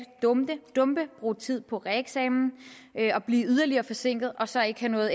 dumpe bruge tid på reeksamen og blive yderligere forsinket og så ikke have noget